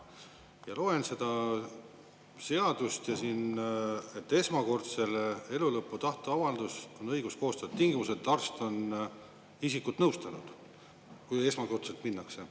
Loen seda seadust ja siin: esmakordselt elulõpu tahteavaldus on õigus koostada tingimusel, et arst on isikut nõustanud – kui esmakordselt minnakse.